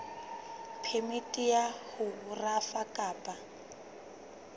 phemiti ya ho rafa kapa